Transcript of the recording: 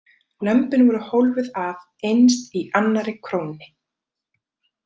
Lömbin voru hólfuð af innst í annarri krónni.